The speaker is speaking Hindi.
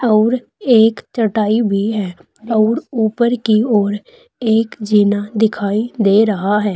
और एक चटाई भी है और ऊपर की ओर एक जीना दिखाई दे रहा है।